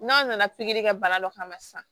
N'a nana pikiri kɛ bana dɔ kama sisan